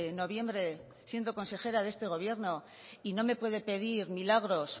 noviembre siendo consejera de este gobierno y no me puede pedir milagros